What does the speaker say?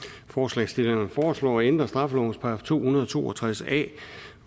forslagsstillerne foreslår at ændre straffelovens § to hundrede og to og tres a